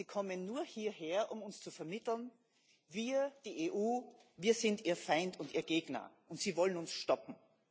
Sie kommen nur hierher, um uns zu vermitteln Wir die EU sind Ihr Feind und Ihr Gegner, und Sie wollen uns stoppen.